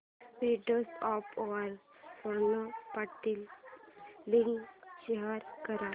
WhatsApp वर Snapdeal link share कर